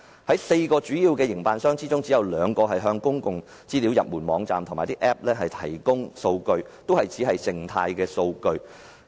在4個主要營辦商當中，只有2個向公共資訊入門網站及 App 提供數據，但只是靜態數據。